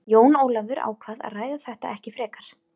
Jón Ólafur ákvað að ræða þetta ekki frekar.